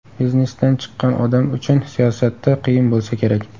Biznesdan chiqqan odam uchun siyosatda qiyin bo‘lsa kerak?